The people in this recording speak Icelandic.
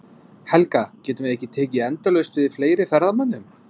Helga, getum við tekið endalaust við fleiri ferðamönnum?